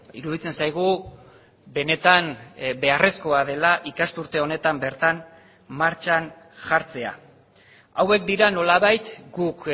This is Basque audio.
iruditzen zaigu benetan beharrezkoa dela ikasturte honetan bertan martxan jartzea hauek dira nolabait guk